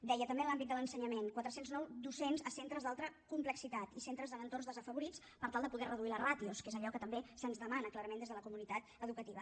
deia també en l’àmbit de l’ensenyament quatre cents i nou docents a centres d’alta complexitat i centres en entorns desafavorits per tal de poder reduir les ràtios que és allò que també se’ns demana clarament des de la comunitat educativa